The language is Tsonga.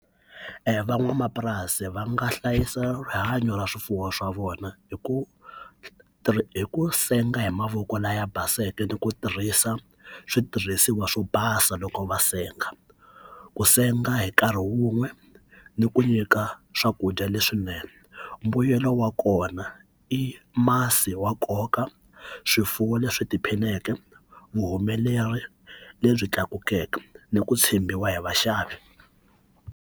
Van'wamapurasi va nga hlayisa rihanyo ra swifuwo swa vona hi ku hi ku senga hi mavoko laya baseke ni ku tirhisa switirhisiwa swo basa loko va senga ku senga hi nkarhi wun'we ni ku nyika swakudya leswinene mbuyelo wa kona i masi wa nkoka swifuwo leswi tiphineke vuhumeleri lebyi tlakukeke ni ku tshembiwa hi vaxavi.